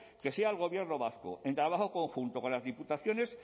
que sea el gobierno vasco en trabajo conjunto con las diputaciones